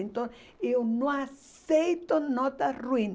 Então, eu não aceito nota ruim.